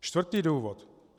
Čtvrtý důvod.